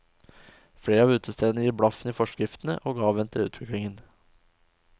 Flere av utestedene gir blaffen i forskriftene og avventer utviklingen.